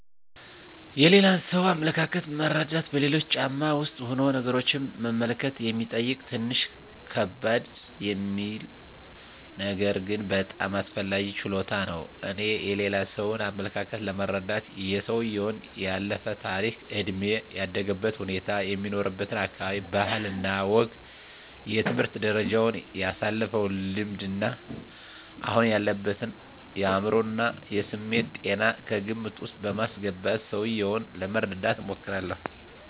የሌላን ሰው አመለካከት መረዳት በሌሎች ጫማ ውስጥ ሁኖ ነገሮችን መመልከት የሚጠይቅ ትንሽ ከበድ የሚል ነገር ግን በጣም አስፈላጊ ችሎታ ነው። እኔ የሌላ ሰውን አመለካከት ለመረዳት የሰውየውን ያለፈ ታሪክ፣ እድሜ፣ ያደገበትን ሁኔታ፣ የሚኖርበትን አካባቢ ባህል እና ወግ፣ የትምህርት ደረጃውን፣ ያሳለፈውን ልምድ እና አሁን ያለበትን የአዕምሮ እና የስሜት ጤና ከግምት ዉስጥ በማስገባት ሰውየውን ለመረዳት እሞክራለሁ።